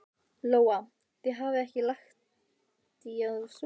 Lóa: Þið hafið ekki lagt í að sofa inni?